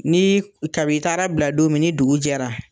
Ni kab'i taara bila don min ni dugujɛra